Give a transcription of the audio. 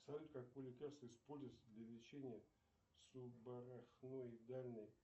салют какое лекарство используется для лечения субарахноидальной